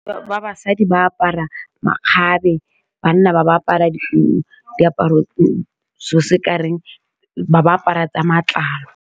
Batho ba basadi ba apara makgabe, banna ba ba apara di diaparo seo se kareng ba ba apara tsa matlalo.